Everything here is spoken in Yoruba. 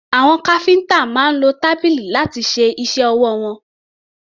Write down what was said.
Àwọn káfíńtà máa ń lo tábìlì láti ṣe iṣẹ́ ọwọ́ wọn.